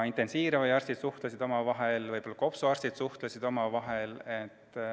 Intensiivraviarstid suhtlesid omavahel, kopsuarstid suhtlesid omavahel.